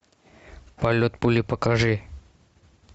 полет пули покажи